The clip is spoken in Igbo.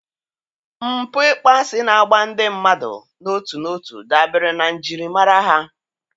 mpụ ịkpọasị na-agba ndị mmadụ n'otu n'otu dabere na njirimara ha.